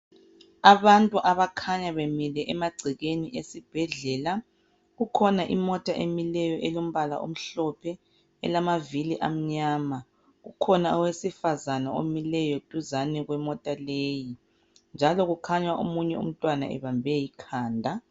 Abantu abakhanya bemile emagcekeni esibhdlela. Kukhona imota emileyo elombala omhlophe elamavili amnyama. Kukhona owesifazane omileyo duzane kwemota leyi njalo kukhanya omunye umntwana ebambe ikhanda.